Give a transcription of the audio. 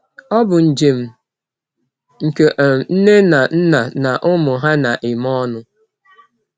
Ọ bụ njem nke um nne na nna na ụmụ ha na-eme ọnụ.